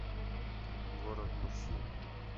город мужчин